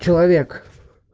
человек